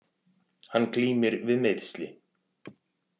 Hann glímir við meiðsli